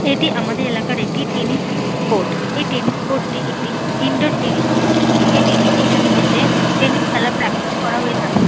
এটি আমাদের এলাকার একটি টেনিস কোর্ট এই টেনিস কোর্ট টি একটি ইনডোর টেনিস কোর্ট এই টেনিস কোর্ট এর মধ্যে টেনিস খেলা প্র্যাক্টিস করা হয়ে থাকে।